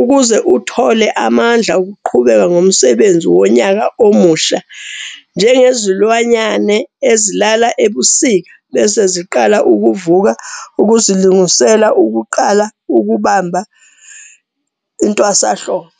ukuze uthole amandla okuqhubeka ngomsebenzi wonyaka omusha - njengezilwanyane ezilala ebusika bese ziqala ukuvuka ukuzilungisela ukuqala ukubamba intwasanhlobo.